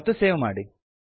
ಮತ್ತು ಸೇವ್ ಮಾಡಿ